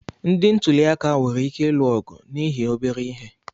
Ndị ntuliaka nwere ike ịlụ ọgụ n'ihi obere ihe.